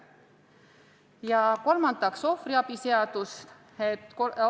Ja kolmandaks, ohvriabi seaduse muutmine.